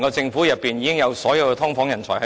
政府內部已有足夠的"劏房人才"。